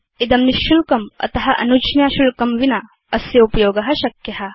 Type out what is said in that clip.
इदं निशुल्कम् अत अनुज्ञाशुल्कं विना अस्योपयोग शक्य